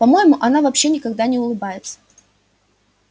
по моему она вообще никогда не улыбается